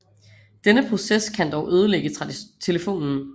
Denne proces kan dog ødelægge telefonen